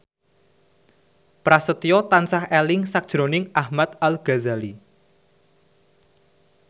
Prasetyo tansah eling sakjroning Ahmad Al Ghazali